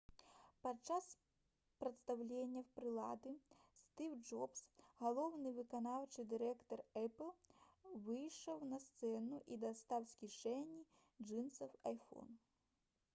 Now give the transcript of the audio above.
падчас прадстаўлення прылады стыў джобс галоўны выканаўчы дырэктар «эпл» выйшаў на сцэну і дастаў з кішэні джынсаў iphone